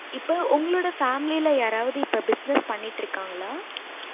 இப்ப உங்களோட family யாரவது business பண்ணிட்டு இருக்காங்களா